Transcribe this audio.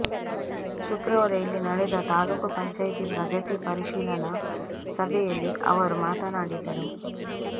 ಶುಕ್ರವಾರ ಇಲ್ಲಿ ನಡೆದ ತಾಲ್ಲೂಕು ಪಂಚಾಯ್ತಿ ಪ್ರಗತಿ ಪರಿಶೀಲನಾ ಸಭೆಯಲ್ಲಿ ಅವರು ಮಾತನಾಡಿದರು